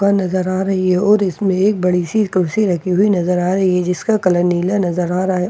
नजर आ रही है और इसमें एक बड़ी सी कुर्सी रखी हुई नजर आ रही है जिसका कलर नीला नजर आ रहा है।